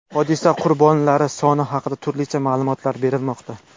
Hodisa qurbonlari soni haqida turlicha ma’lumot berilmoqda.